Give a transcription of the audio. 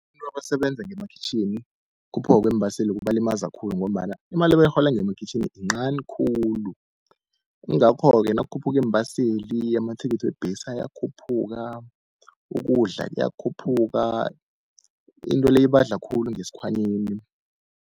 Abantu abasebenza ngemakhwitjhini ukukhuphuka kweembaseli kubalimaza khulu, ngombana imali ebayirhola ngemakhwitjhini incani khulu. Kungakho-ke nakukhuphuka iimbaseli, amathikithi webhesi ayakhuphuka, ukudla kuyakhuphuka into le ibadla khulu ngesikhwanyeni.